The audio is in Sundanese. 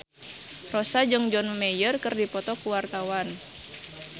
Rossa jeung John Mayer keur dipoto ku wartawan